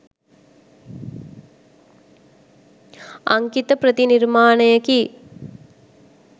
අංකිත ප්‍රතිනිර්මාණයකි.